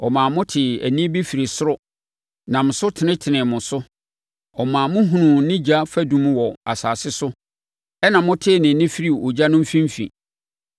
Ɔmaa motee ne nne firi soro nam so tenetenee mo so. Ɔmaa mohunuu ne ogya fadum wɔ asase so, ɛnna motee ne nne firii ogya no mfimfini.